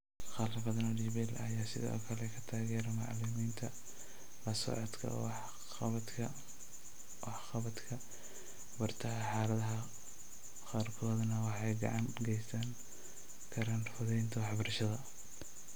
Qalab badan oo DPL ah ayaa sidoo kale ka taageera macallimiinta la socodka waxqabadka bartaha xaaladaha qaarkoodna waxay gacan ka geysan karaan fududaynta waxbarashada.